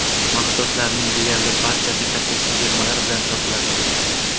Mahsulotlarning deyarli barchasi katta chegirmalar bilan sotiladi.